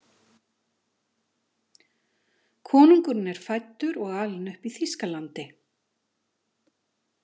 Konungurinn er fæddur og alinn upp í Þýskalandi.